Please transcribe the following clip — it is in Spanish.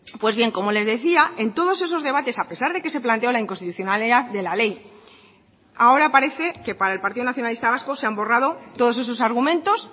pues bien como les decía en todos esos debates a pesar de que se planteó la inconstitucionalidad de la ley ahora parece que para el partido nacionalista vasco se han borrado todos esos argumentos